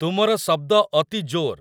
ତୁମର ଶବ୍ଦ ଅତି ଜୋର